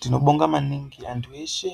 Tinobonga maningi antu eshe